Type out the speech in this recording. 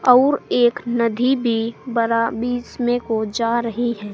और एक नदी भी बरा बीच में को जा रही है।